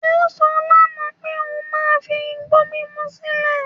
Ó sọ lánàá pé òun máa fi igbó mímú sílẹ̀